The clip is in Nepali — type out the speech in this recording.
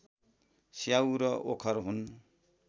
स्याउ र ओखर हुन्